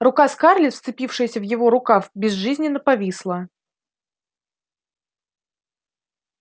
рука скарлетт вцепившаяся в его рукав безжизненно повисла